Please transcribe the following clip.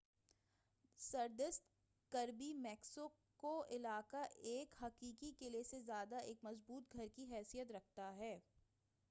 سردست Kirby Muxloe قلعہ ایک حقیقی قلعے سے زیادہ ایک مضبوط گھر کی حیثیت رکھتا ہے